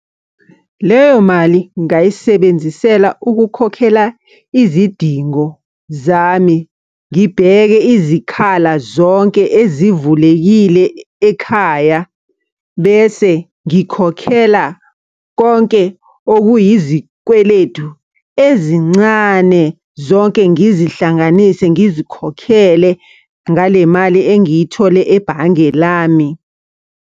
Leyo mali ngingayisebenzisela ukukhokhela izidingo zami, ngibheke izikhala zonke ezivulekile ekhaya. Bese ngikhokhela konke okuyizikweletu ezincane zonke ngizihlanganise ngizikhokhele ngale mali engiyithole ebhange lami.